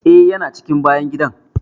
Eh, ya na cikin bayan gidan.